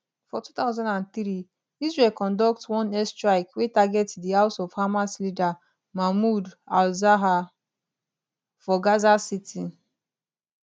for 2003 israel conduct one airstrike wey target di house of hamas leader mahmoud alzahar for gaza city